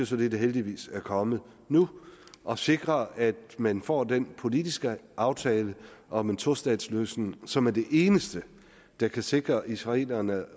så det der heldigvis er kommet nu og sikre at man får den politiske aftale om en tostatsløsning som er det eneste der kan sikre israelerne